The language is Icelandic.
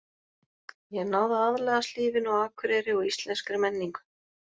Ég hef náð að aðlagast lífinu á Akureyri og íslenskri menningu.